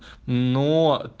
но